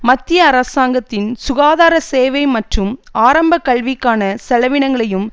மத்திய அரசாங்கத்தின் சுகாதார சேவை மற்றும் ஆரம்பக்கல்விக்கான செலவினங்களையும்